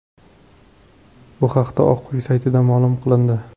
Bu haqda Oq uy saytida ma’lum qilindi .